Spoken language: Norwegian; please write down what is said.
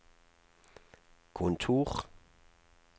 kontor